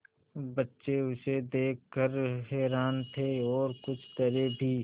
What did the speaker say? बच्चे उसे देख कर हैरान थे और कुछ डरे भी